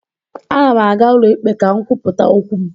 A na m aga ụlọikpe ka m kwupụta okwu m